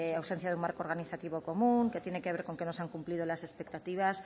ausencia de un marco organizativo común que tiene que ver con que no se han cumplido las expectativas